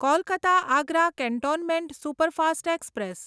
Kolkata Agra cantonment superfast express